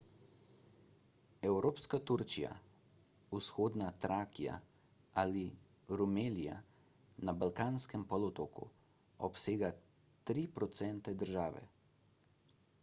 evropska turčija vzhodna trakija ali rumelija na balkanskem polotoku obsega 3 % države